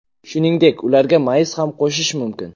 Shuningdek, ularga mayiz ham qo‘shish mumkin.